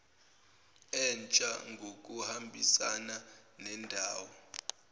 entsha ngokuhambisana nendawo